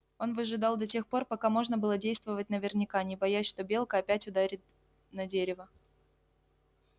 он выжидал до тех пор пока можно было действовать наверняка не боясь что белка опять ударит на дерево